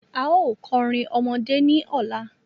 A ó kọrin ọmọdé ní ọ̀la.